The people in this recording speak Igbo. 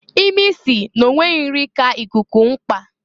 Imi si n'onweghi nri ka ikuku mkpa.